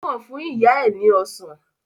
O kan fún ìyá ẹ ni ọsán.